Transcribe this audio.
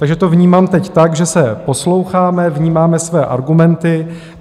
Takže to vnímám teď tak, že se posloucháme, vnímáme své argumenty.